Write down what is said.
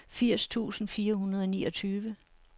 firs tusind fire hundrede og niogtyve